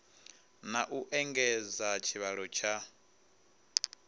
na u engedza tshivhalo tsha